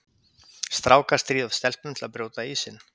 Strákar stríða oft stelpum til að brjóta ísinn.